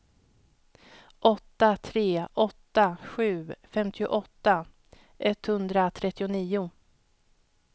åtta tre åtta sju femtioåtta etthundratrettionio